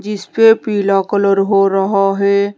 इस पे पीला कलर हो रहा है।